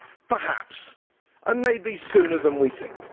Perhaps, and maybe sooner than we think.